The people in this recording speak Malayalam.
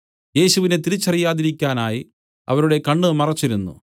യേശുവിനെ തിരിച്ചറിയാതിരിക്കാനായി അവരുടെ കണ്ണ് മറച്ചിരുന്നു